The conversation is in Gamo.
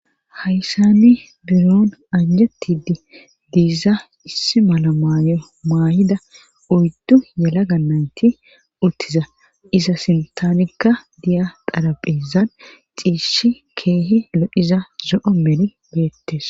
Hayssani biron anjetidi diiza issi mala maayo maayida oyddu yala gannayti uttiza iza sintaanikka diya qaraphezan xiishi keehi lodiza zo'o meri beettes.